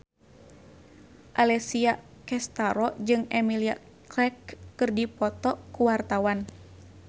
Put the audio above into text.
Alessia Cestaro jeung Emilia Clarke keur dipoto ku wartawan